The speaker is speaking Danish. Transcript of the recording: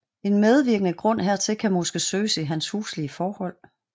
En medvirkende grund hertil kan måske søges i hans huslige forhold